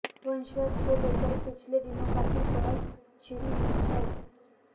वंशवाद को लेकर पिछले दिनों काफी बहस छिड़ी हुई है